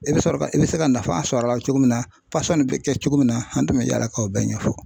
I bɛ sɔrɔ ka i bɛ se ka nafa sɔrɔ a la cogo min na pasɔn bɛ kɛ cogo min na an tun bɛ yaala ka o bɛɛ ɲɛfɔ.